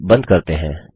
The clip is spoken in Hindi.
इसे बंद करते हैं